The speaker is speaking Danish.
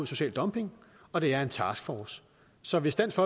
social dumping og det er en taskforce så hvis dansk